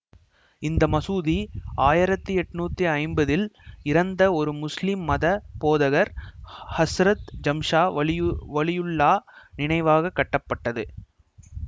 இந்த மசூதி ஆயிரத்தி எட்ணூத்தி ஐம்பதில் இறந்த ஒரு முஸ்லீம் மத போதகர் ஹ ஹஸ்ரத் ஜம்ஷா வலியுல்லாஹ் நினைவாக கட்டப்பட்டது